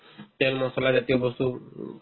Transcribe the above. তেল মছলাজাতীয় বস্তু উম